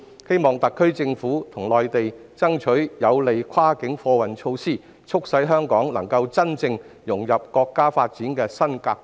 希望特區政府與內地爭取有利的跨境貨運措施，促使香港能夠真正融入國家發展的新格局。